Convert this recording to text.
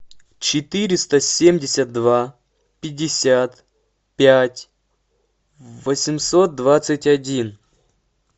четыреста семьдесят два пятьдесят пять восемьсот двадцать один